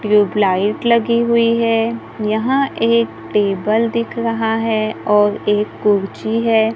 Tubelight लगी हुई है यहां एक टेबल दिख रहा है और एक कुर्सी है।